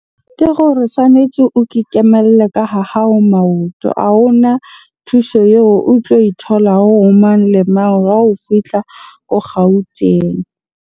Ke gore tshwanetje o ke kemelle ka ha hao maoto. A hona thuso eo o tlo e tholang ho mang le mang ha o fihla ko Gauteng.